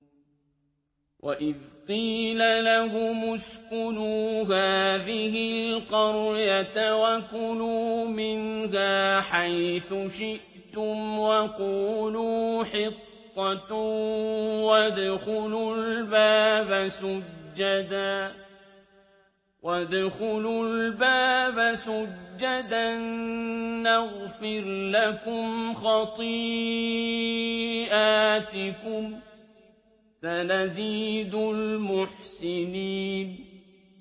وَإِذْ قِيلَ لَهُمُ اسْكُنُوا هَٰذِهِ الْقَرْيَةَ وَكُلُوا مِنْهَا حَيْثُ شِئْتُمْ وَقُولُوا حِطَّةٌ وَادْخُلُوا الْبَابَ سُجَّدًا نَّغْفِرْ لَكُمْ خَطِيئَاتِكُمْ ۚ سَنَزِيدُ الْمُحْسِنِينَ